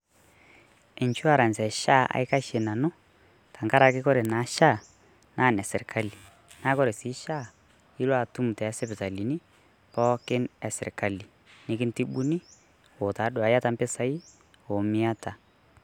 Insurance e SHA aikashe nanu tenkaraki kore naa SHA naa ene sirkali. Naa ore sii SHAA ilo atum to sipitalini pookin e sirkali nikintibuni o tadua iata mpisai o miata.